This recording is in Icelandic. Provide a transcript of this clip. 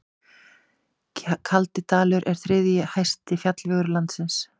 Kaldidalur er þriðji hæsti fjallvegur landsins.